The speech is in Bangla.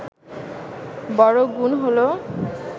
বড় গুণ হলো